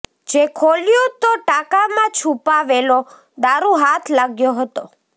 જે ખોલ્યું તો ટાંકામાં છૂપાવેલો દારૂ હાથ લાગ્યો હતો